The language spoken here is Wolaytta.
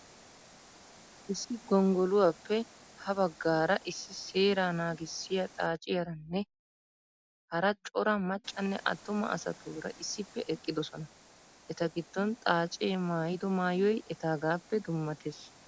Issi gonggoluwappe ha baggaara issi seeraa naagissiya xaaciyaranne hara. cora maccanne attuma asatuura issippe eqqidosona. Eta giddon xaacee maayido maayoy etaagaappe dummatees.